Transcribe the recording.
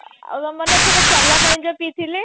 ଆଉ ମନେ ଅଛି ଚଲା ପାଣି ଯୋଉ ପିଇ ଥିଲେ